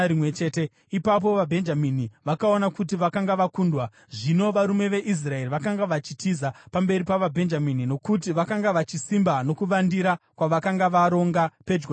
Ipapo vaBhenjamini vakaona kuti vakanga vakundwa. Zvino varume veIsraeri vakanga vachitiza pamberi pavaBhenjamini, nokuti vakanga vachisimba nokuvandira kwavakanga varonga pedyo neGibhea.